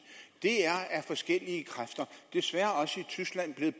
af forskellige kræfter desværre også i tyskland er